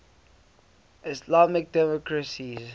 islamic democracies